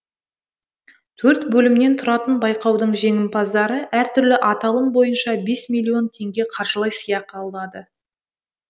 төрт бөлімнен тұратын байқаудың жеңімпаздары әртүрлі аталым бойынша бес миллион теңге қаржылай сыйақы алады